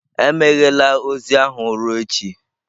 Emeghela ozi ahụ ruo echi!